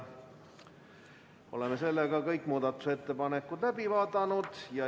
Oleme muudatusettepaneku läbi vaadanud.